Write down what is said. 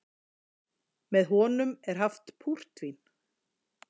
Með honum er haft púrtvín.